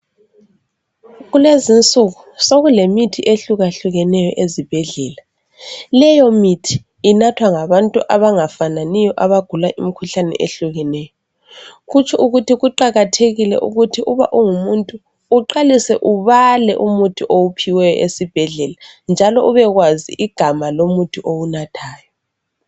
Kulezinsuku sokulemithi ehlukahlukeneyo ezibhedlela leyo mithi inathwa ngabantu abangafananiyo abagula imikhuhlane ehlukeneyo kutsho ukuthi kuqakathekile ukuthi uba ungumuntu uqalise ubale umuthi owuphiweyo esibhedlela njalo ubakwazi igama lomuthi owunathayo.